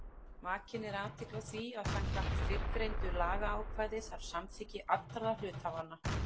Vakin er athygli á því að samkvæmt fyrrgreindu lagaákvæði þarf samþykki allra hluthafanna.